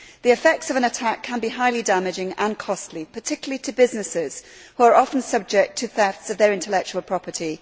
The effects of an attack can be highly damaging and costly, particularly to businesses, which are often subject to thefts of their intellectual property.